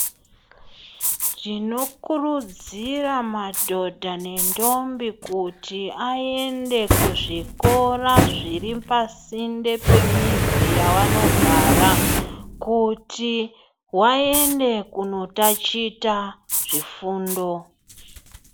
Tinokurudzira madhodha nentombi kuti ayende kuzvikora zviri pasinde pemizi yawanogara kuti wayende kunotachita zvifundo.